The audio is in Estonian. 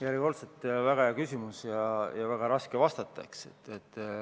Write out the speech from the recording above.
Järjekordselt väga hea küsimus ja väga raske vastata.